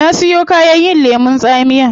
Na siyon kayan yin lemun tsamiya